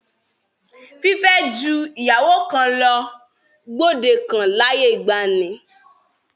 Fífẹ́ ju ìyàwó kan lọ gbòde kan láyé ìgbaanì.